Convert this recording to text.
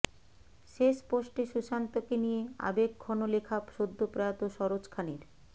শেষ পোস্টে সুশান্তকে নিয়ে আবেগঘন লেখা সদ্য প্রয়াত সরোজ খানের